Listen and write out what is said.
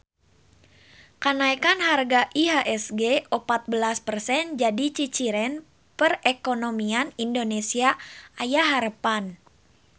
Kanaekan harga IHSG opat belas persen jadi ciciren perekonomian Indonesia aya harepan